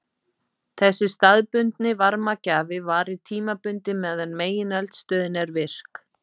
Þessi staðbundni varmagjafi varir tímabundið meðan megineldstöðin er virk.